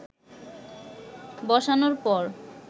বসানোর পর